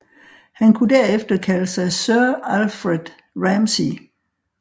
Han kunne derefter kalder sig Sir Alfred Ramsey